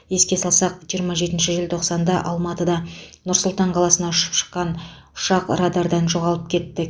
еске салсақ жиырма жетінші желтоқсанда алматыда нұр сұлтан қаласына ұшып шыққан ұшақ радардан жоғалып кетті